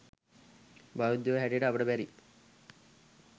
බෞද්ධයෝ හැටියට අපට බැරි